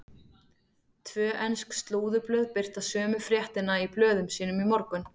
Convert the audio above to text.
Tvö ensk slúðurblöð birta sömu fréttina í blöðum sínum í morgun.